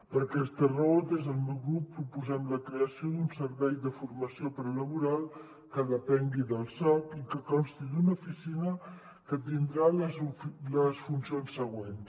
per aquesta raó des del meu grup proposem la creació d’un servei de formació prelaboral que depengui del soc i que consti d’una oficina que tindrà les funcions següents